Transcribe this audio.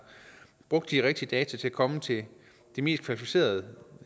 brugt de rigtige data til at komme til det mest kvalificerede